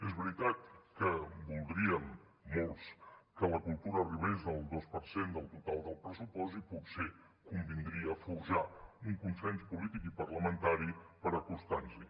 és veritat que voldríem molts que la cultura arribés al dos per cent del total del pressupost i potser convindria forjar un consens polític i parlamentari per acostar nos hi